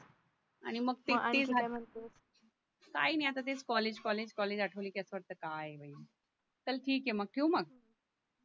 आणि मग ते आणखी काय म्हणतेस काय नाय आता ते कॉलेज कॉलेज कॉलेज आटवले कि असं वाटतं काय बाई चल ठीक आहे मग ठेऊ मग